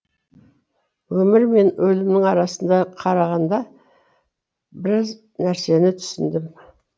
өмір мен өлімнің арасында қарағанда біз нәрсені түсіндім